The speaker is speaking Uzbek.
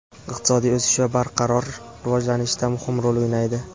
iqtisodiy o‘sish va barqaror rivojlanishda muhim rol o‘ynaydi.